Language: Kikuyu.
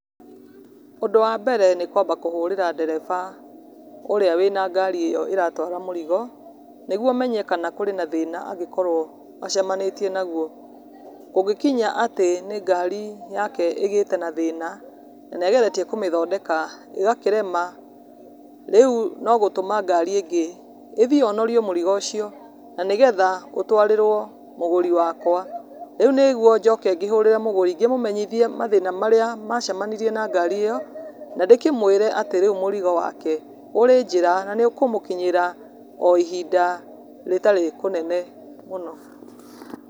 Ũndũ wambere nĩ kwamba kũhũrĩra ndereba ũrĩa wĩna ngari ĩyo ĩratwara mũrigo nĩguo menye kana kũrĩ na thĩna angĩkorwo acemanĩtie naguo. Kũngĩkinya atĩ nĩ ngari yake ĩgĩte na thĩna na nĩ ageretie kũmĩthondeka ĩgakĩrema, rĩu no gũtũma ngari ĩngĩ, ĩthiĩ yonorie mũrigo ũcio na nĩgetha ũtũarĩrwo mũgũri wakwa. Rĩu nĩguo njoke ngĩhũrĩre mũgũri ngĩmũmenyithie mathĩna marĩa macemanirie na ngari ĩyo, na ndĩkĩmũĩre atĩ rĩu mũrigo wake ũrĩ njĩra na nĩ ũkũmũkinyĩra o ihinda rĩtarĩ kũnene mũno.